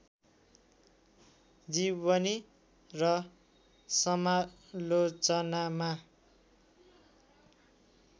जीवनी र समालोचनामा